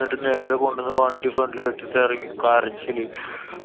ന്നിട്ട് നേരെ കൊണ്ടന്നു വണ്ടി front ല് ഇട്ട് എറങ്ങി കരച്ചില്.